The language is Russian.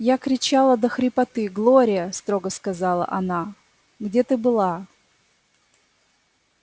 я кричала до хрипоты глория строго сказала она где ты была